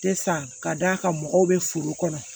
Te san ka d'a kan mɔgɔw be foro kɔnɔ